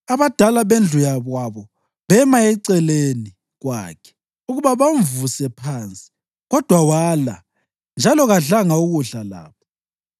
Abadala bendlu yakwabo bema eceleni kwakhe ukuba bamvuse phansi, kodwa wala, njalo kadlanga kudla labo.